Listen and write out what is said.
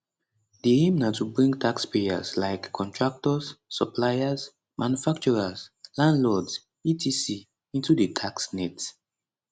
di aim na to bring taxpayers like contractors suppliers manufacturers landlords etc into di tax net